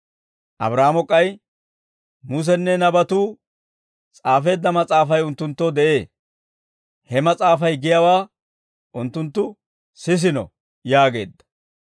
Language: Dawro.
«Abraahaamo k'ay, ‹Musenne nabatuu s'aafeedda mas'aafay unttunttoo de'ee; he mas'aafay giyaawaa unttunttu sisiino› yaageedda.